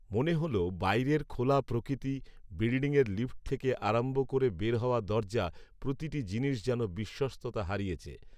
মনে হল, বাইরের খোলা প্রকৃতি, বিল্ডিঙয়ের লিফট থেকে আরম্ভ করে বের হওয়ার দরজা, প্রতিটি জিনিস যেন বিশ্বস্ততা হারিয়েছে